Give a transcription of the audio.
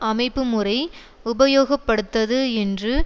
அமைப்புமுறை உபயோகப்படுத்தது என்று